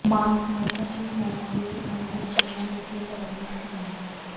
ਮਾਤਾ ਸ੍ਰੀ ਨੈਣਾ ਦੇਵੀ ਮੰਦਰ ਚੀਮਾਂ ਵਿਖੇ ਧਾਰਮਿਕ ਸਮਾਗਮ